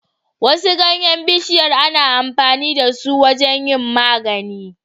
Wasu ganyan bishiyar ana amfani dasu wajan yin magani